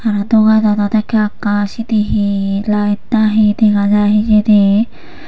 ah dogananot ekka ekka sieni he light na he dega jai hijeni.